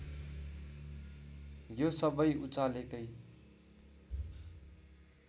यो सबै उचालेकै